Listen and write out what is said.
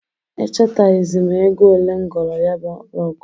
Echataghịzị m ego olee m goro ya bụ rọgụ.